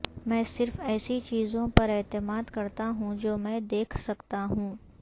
میں صرف ایسی چیزوں پر اعتماد کرتا ہوں جو میں دیکھ سکتا ہوں